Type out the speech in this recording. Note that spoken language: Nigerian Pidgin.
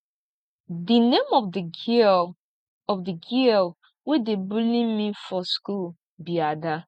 the name of the girl of the girl wey dey bully me for school be ada